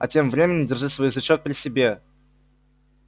а тем временем держи свой язычок при себе